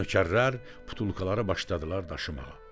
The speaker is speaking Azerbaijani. Nökərlər butulkaları başladılar daşımağa.